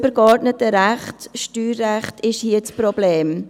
Das übergeordnete Recht, das Steuerrecht, ist hier das Problem.